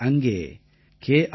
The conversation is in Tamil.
இது அங்கே கே